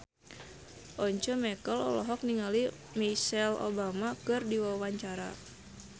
Once Mekel olohok ningali Michelle Obama keur diwawancara